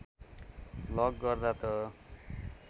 lock गर्दा त